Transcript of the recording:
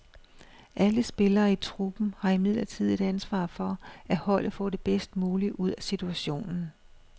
Alle spillere i truppen har imidlertid et ansvar for, at holdet får det bedst mulige ud af situationen.